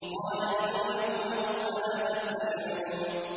قَالَ لِمَنْ حَوْلَهُ أَلَا تَسْتَمِعُونَ